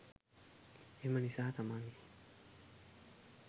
එම නිසා, තමන්ගේ